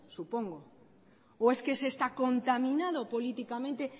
supongo o es que ese está contaminado políticamente